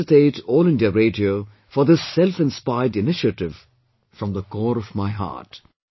I felicitate All India Radio for this selfinspired initiative from the core of my heart